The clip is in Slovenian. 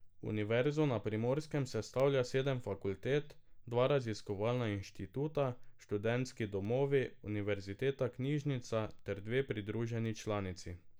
Univerzo na Primorskem sestavlja sedem fakultet, dva raziskovalna inštituta, Študentski domovi, Univerzitetna knjižnica ter dve pridruženi članici.